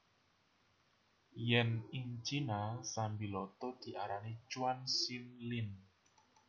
Yèn ing Cina sambiloto diarani chuan xin lien